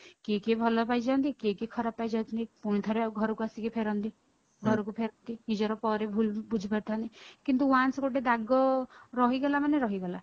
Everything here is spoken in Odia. କିଏ କିଏ ଭଲ ପାଇଯାଆନ୍ତି କିଏ କିଏ ଖରାପ ପାଇଁ ଯାଉଥିଲି ପୁଣିଥରେ ଘରକୁ ଆସିକି ଫେରନ୍ତି ଘରକୁ ଫେରିକି ନିଜର ପରେ ଭୁଲ ବୁଝି ପାରିଥାନ୍ତି କିନ୍ତୁ once ଗୋଟେ ଦାଗ ରହିଗଲା ମାନେ ରହିଗଲା